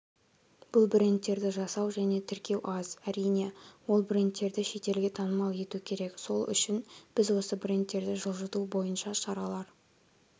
бұл брендтерді жасау және тіркеу аз әрине ол брендтерді шетелге танымал ету керек сол үшін біз осы брендтерді жылжыту бойынша шаралар